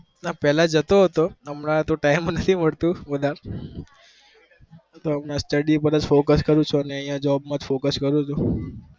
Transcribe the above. હા પેલા જતો હતો હમણાં તો time નહી મળતું job પર focus કરું છુ